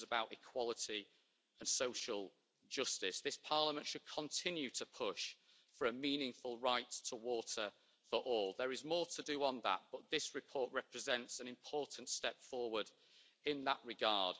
this is about equality and social justice. This Parliament should continue to push for a meaningful right to water for all. There is more to do on that, but this report represents an important step forward in that regard.